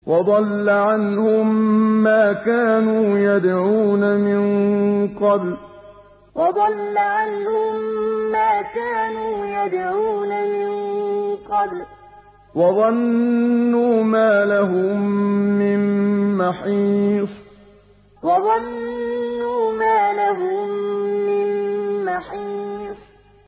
وَضَلَّ عَنْهُم مَّا كَانُوا يَدْعُونَ مِن قَبْلُ ۖ وَظَنُّوا مَا لَهُم مِّن مَّحِيصٍ وَضَلَّ عَنْهُم مَّا كَانُوا يَدْعُونَ مِن قَبْلُ ۖ وَظَنُّوا مَا لَهُم مِّن مَّحِيصٍ